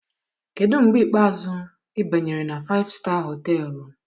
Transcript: Kedu mgbe ikpeazụ ị banyere na Faịfụ Staa Họtelụ?